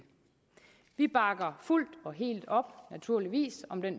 vi bakker fuldt og helt op naturligvis om det